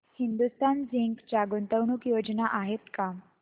Hindustan zinc च्या गुंतवणूक योजना आहेत का